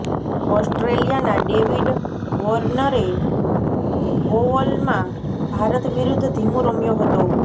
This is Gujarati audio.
ઓસ્ટ્રેલિયાના ડેવિડ વોર્નરે ઓવલમાં ભારત વિરુદ્ધ ધીમું રમ્યો હતો